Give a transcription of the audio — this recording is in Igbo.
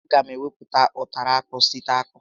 A ga m emepụta ụtara akpụ site n'akpụ